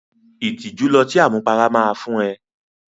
Ìtìjú lọtí àmupara máa fún ẹ.